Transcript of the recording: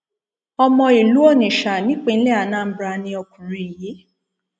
ọmọ ìlú onitsha nípínlẹ anambra ni ọkùnrin yìí